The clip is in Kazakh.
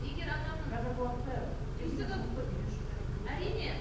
егер адамның қазіргі уақытта кез келген жұмысты үйден шықпай ақ істеуге болады әрине